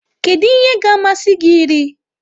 Kedu ihe ga-amasị gị iri?